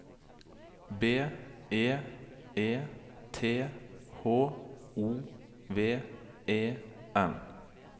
B E E T H O V E N